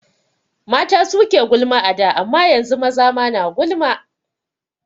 Mata suke gulma a da amma yanzu maza ma na gulma